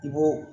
I b'o